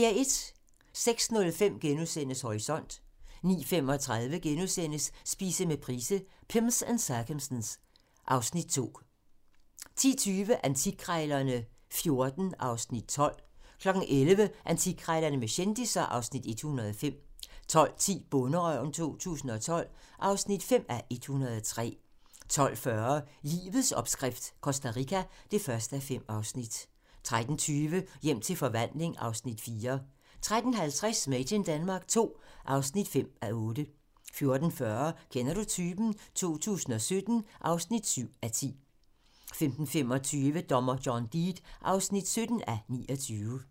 06:05: Horisont * 09:35: Spise med Price - Pimms and circumstance (Afs. 2)* 10:20: Antikkrejlerne XIV (Afs. 12) 11:00: Antikkrejlerne med kendisser (Afs. 105) 12:10: Bonderøven 2012 (5:103) 12:40: Livets opskrift - Costa Rica (1:5) 13:20: Hjem til forvandling (Afs. 4) 13:50: Made in Denmark II (5:8) 14:40: Kender du typen? 2017 (7:10) 15:25: Dommer John Deed (17:29)